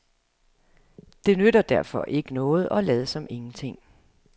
Det nytter derfor ikke noget at lade som ingenting.